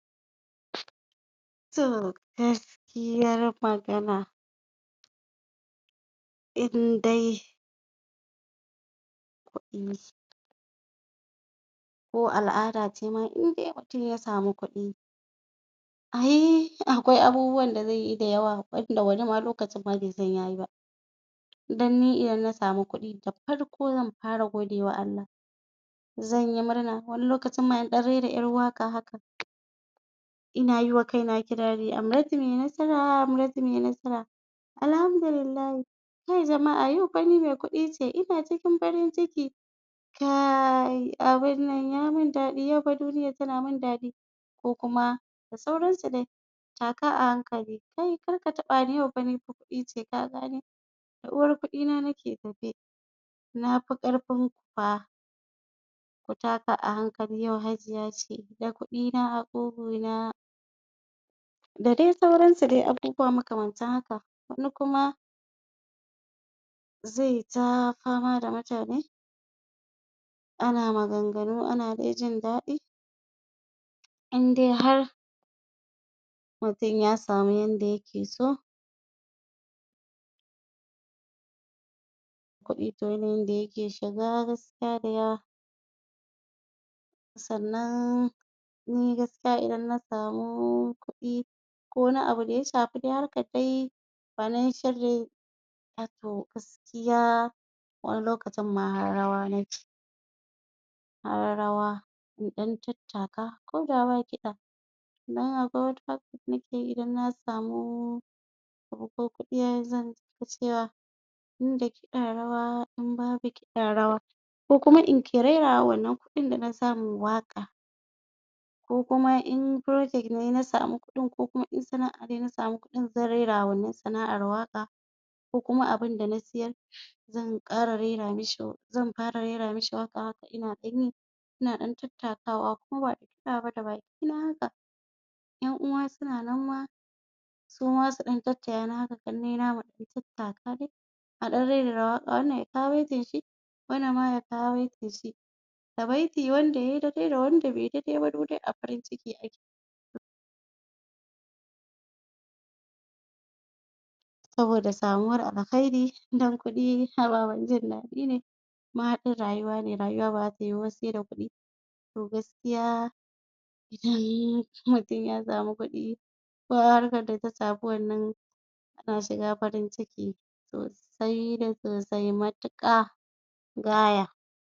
to gaskiya magana indai ko al'ada cema indai mutum ya samu kuɗi ai akwai abubuwan da zeyi da yawa wanda wani ma lokacin ma besan yayi ba idan ni idan na samu kuɗi da farko zan fara godewa Allah zanyi murna wani lokacin ma in ɗan rera ƴar waƙa haka ina yiwa kaina kirari Amratu me nasara Amratu me nasara alhamdulillahi kai jama'a yau fa ni me kuɗi ce ina cikin farin ciki kaiii abunnan yamin daɗi yafa duniyar tana min daɗi ko kuma da sauran su dai taka a hankali kai karka taɓa ni yau fa ni me kuɗi ce ka gane da uwar kuɗi na nake tafe nafi ƙarfinku fa ku taka a hankali yau hajiya ce da kuɗi na a ƙuguna da dai sauransu dai abubuwa makamantan haka wani kuma zeta fama da mutane ana maganganu ana dai jin daɗi indai har mutum ya samu yanda yake so kuɗi to yanayin da yake shiga gaskiya daya sannan ni gaskiya idan na samu kuɗi ko wani abu da ya shafi dai harkar dai banin shirri a to gaskiya wani lokacimma har rawa nake har rawa in ɗan tattaka koda ba kiɗa naga wataran haka nake idan na samu ko kuɗi zan iya cewa inda kiɗa rawa in babu kiɗa rawa ko kuma in ke rera wa wannan kuɗin dana samu waƙa ko kuma in projet nayi na samu kuɗin ko kuma in sana'a nayi na samu kuɗin zan rera wa wannan sana'ar waƙa ko kuma abunda na siyar zan ƙara rera mishi zan ƙara rera mishi waƙa haka ina ɗanyi ina ɗan tatakawa ko bada kiɗa ba da baki na haka ƴan uwa suna nan ma suma su ɗan taya ni haka ƙannai na muɗan tattaka dai a ɗan rerera waƙa wannan ya kawo baitin shi wannan ma ya kawo baitin shi da baiti wanda yay daidai da wanda beyi daidai ba duk dai a farin ciki ake saboda samuwar alkairi don kuɗi ababen jin daɗi ne mahaɗin rayuwa ne rayuwa baza ta yuwu ba se da kuɗi to gaskiya in mutum ya samu kuɗi ko a harkar daka samu wannan kana shiga cikin farin ciki sosai da sosai matuƙa gaya